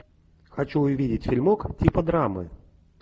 хочу увидеть фильмок типа драмы